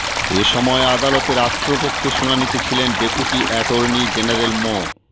এ সময় আদালতে রাষ্ট্রপক্ষে শুনানিতে ছিলেন ডেপুটি অ্যাটর্নি জেনারেল মো